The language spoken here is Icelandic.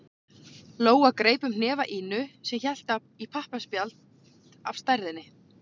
Lóa greip um hnefa Ínu sem hélt í pappaspjald af stærðinni